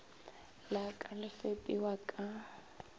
la ka le fepiwa ka